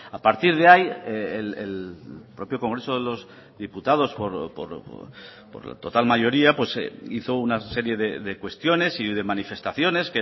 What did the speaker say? a partir de ahí el propio congreso de los diputados por total mayoría hizo una serie de cuestiones y de manifestaciones